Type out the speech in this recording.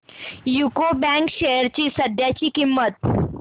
UCO bank shares ची सध्याची किंमत